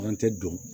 An tɛ don